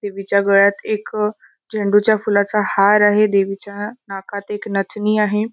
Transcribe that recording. देवीच्या गळ्यात एक झेंडू च्या फुलाचा हार आहे देवीच्या नाकात एक नथणि आहे.